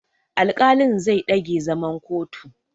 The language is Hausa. Alƙalin zai ɗage zaman kotun.